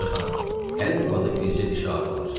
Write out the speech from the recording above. Ağca xanım, hər yuvada bircə dişi arı olar.